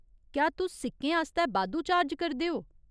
क्या तुस सिक्कें आस्तै बाद्धू चार्ज करदे ओ?